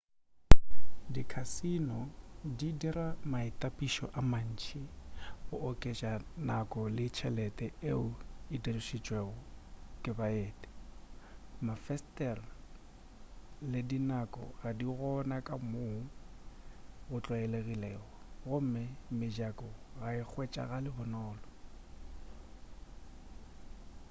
dikhasino di dira maitapišo a mantši go oketša nako le tšhelete yeo e dirišitšwego ke baeti mafesetere le dinako ga di gona ka moo go tlwaelegilego gomme mejako ga e hwetšagale bonolo